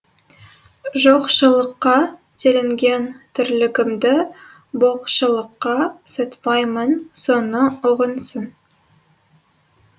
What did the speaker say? жоқшылыққа телінген тірлігімді боқшылыққа сатпаймын соны ұғынсын